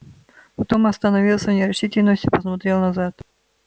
потом остановился в нерешительности и посмотрел назад